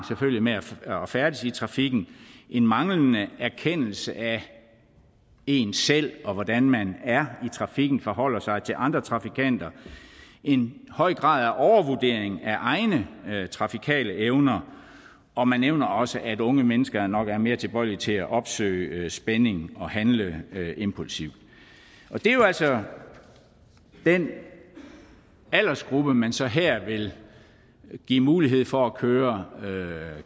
med at færdes i trafikken en manglende erkendelse af en selv og hvordan man er i trafikken og forholder sig til andre trafikanter en høj grad af overvurdering af egne trafikale evner og man nævner også at unge mennesker nok er mere tilbøjelige til at opsøge spænding og handle impulsivt og det er jo altså den aldersgruppe man så her vil give mulighed for at køre